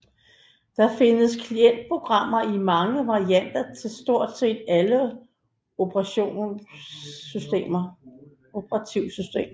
Der findes klientprogrammer i mange varianter til stort set alle operativsystemer